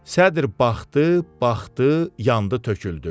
Sədr baxdı, baxdı, yandı, töküldü.